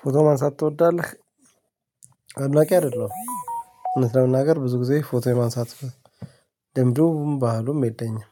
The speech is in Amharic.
ፎቶ ማንሳት ትወዳለህ? አምላኪ አይደለውም እውነት ለመናገር ብዙ ጊዜ ፎቶ የማንሳት ልምዱም ባህሉም የለኝም።